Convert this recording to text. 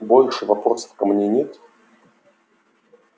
больше вопросов ко мне нет